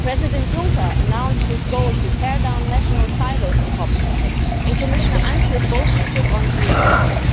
President Juncker announced his goal to tear down national silos in copyright, and Commissioner Ansip boldly took on geo blocking.